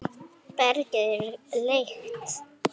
bergið er lekt.